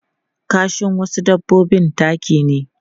Kashin wasu dabbobi taki ne.